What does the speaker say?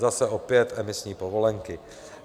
Zase - opět emisní povolenky.